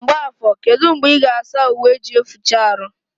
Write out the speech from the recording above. Mgbafo kedụ mgbe ị ga asa uwe eji eficha arụ?